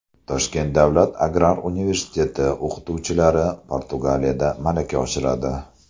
Toshkent davlat agrar universiteti o‘qituvchilari Portugaliyada malaka oshiradi.